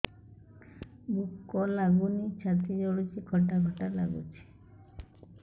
ଭୁକ ଲାଗୁନି ଛାତି ଜଳୁଛି ଖଟା ଖଟା ଲାଗୁଛି